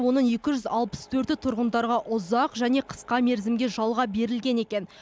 оның екі жүз алпыс төрті тұрғындарға ұзақ және қысқа мерзімге жалға берілген екен